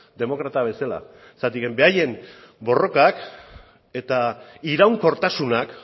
demokrata bezala zergatik berain borrokak eta iraunkortasunak